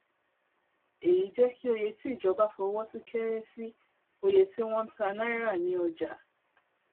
èyí jẹ kí òye tí ìjọba fọwọ sí kéré sí òye tí wọn ń tà náírà ní ọjà